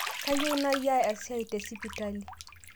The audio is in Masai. Kayieu nayiaya siai tesipitali